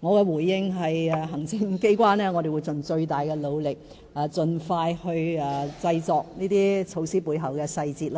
我的回應是，行政機關會盡最大的努力，盡快制訂這些措施背後的細節，